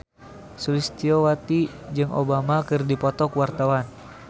Sulistyowati jeung Obama keur dipoto ku wartawan